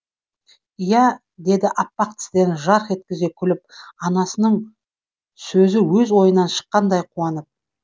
иә деді аппақ тістерін жарқ еткізе күліп анасының сөзі өз ойынан шыққандай қуанып